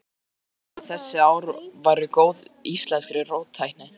Því fór fjarri að þessi ár væru góð íslenskri róttækni.